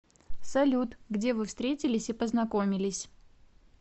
салют где вы встретились и познакомились